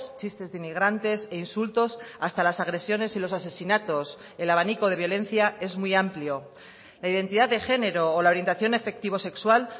chistes de inmigrantes e insultos hasta las agresiones y los asesinatos el abanico de violencia es muy amplio la identidad de género o la orientación efectivo sexual